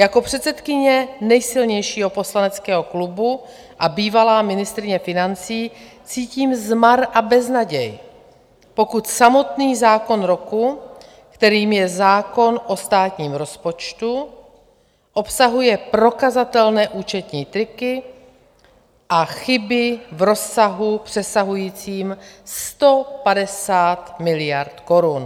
Jako předsedkyně nejsilnějšího poslaneckého klubu a bývalá ministryně financí cítím zmar a beznaděj, pokud samotný zákon roku, kterým je zákon o státním rozpočtu, obsahuje prokazatelné účetní triky a chyby v rozsahu přesahujícím 150 miliard korun.